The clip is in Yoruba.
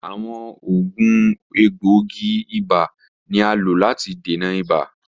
Awọn oògùn egboogi-iba ni a lo lati dena ibà.